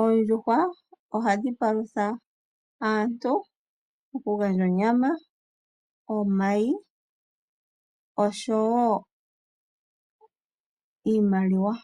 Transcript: Oondjuhwa ohadhi palutha aantu, okugandja onyama, omayi nosho wo iimaliwa.